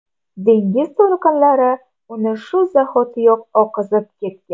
Dengiz to‘lqinlari uni shu zahotiyoq oqizib ketgan.